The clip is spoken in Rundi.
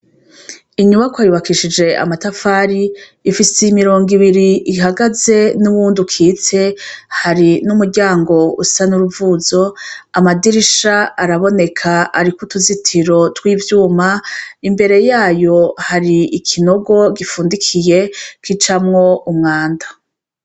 Inyubakwa yubakishije amatafari ifise imirongo ibiri ihagaze n'uwundi ukitse hari n'umuryango usa n'uruvuzo amadirisha araboneka, ariko utuzitiro tw'ivyuma imbere yayo hari ikinogo gifundikiye kicamwo umwanda.